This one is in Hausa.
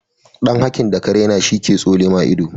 dan hakin daka raina shi ke tsonema ido